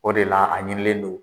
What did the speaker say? O de la , a ɲinilen don.